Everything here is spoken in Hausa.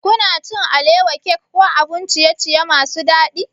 Kuna cin alewa, cake ko abun ciye-ciye masu daɗi?